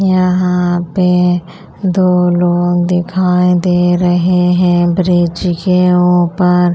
यहाँ पे दो लोग दिखाई दे रहे हैं ब्रिज के ऊपर --